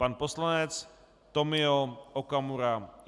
Pan poslanec Tomio Okamura.